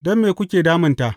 Don me kuke damunta?